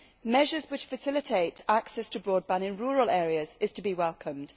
Measures which facilitate access to broadband in rural areas are to be welcomed.